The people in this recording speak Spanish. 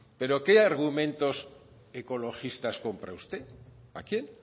pero qué argumentos ecologistas compra usted a quién